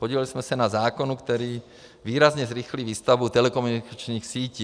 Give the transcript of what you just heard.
Podíleli jsme se na zákonu, který výrazně zrychlí výstavbu telekomunikačních sítí.